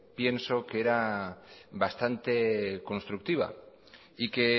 pienso que era bastante constructiva y que